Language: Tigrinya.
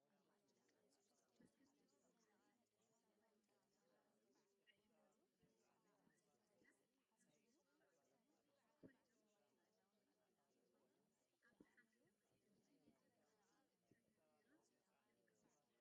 ብርክት ዝበሉ ፃዕዳን ዕንቋይን ሕብሪ ዘለዎም ዕሹጋት ኦቾሎኒ በዓል ፃዕዳ መክደን ጡዑማት ኮይኖም፤ አብ ሓመደዋይ ሕብሪ ድሕረ ገፅ ተደርዲሮም ይርከቡ፡፡